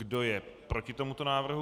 Kdo je proti tomuto návrhu?